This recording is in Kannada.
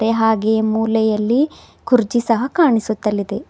ಹಾಗೆಯೇ ಮೂಲೆಯಲ್ಲಿ ಕುರ್ಜಿ ಸಹ ಕಾಣಿಸುತ್ತಲಿದೆ.